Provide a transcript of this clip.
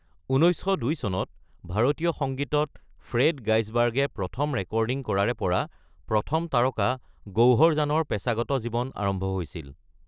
১৯০২ চনত ভাৰতীয় সংগীতত ফ্ৰেড গাইচবাৰ্গে প্ৰথম ৰেকৰ্ডিং কৰাৰে পৰা, প্ৰথম তাৰকা গৌহৰ জানৰ পেচাগত জীৱন আৰম্ভ হৈছিল।